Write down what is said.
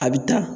A bɛ ta